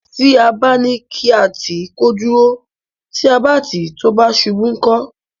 Tí a bá ní ká tì í kó dúró; tí a bá tì í tó bá ṣubú, ńkọ́?